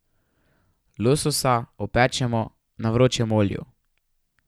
Lososa opečemo na vročem olju.